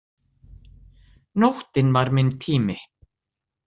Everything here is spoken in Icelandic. Nóttin var minn tími.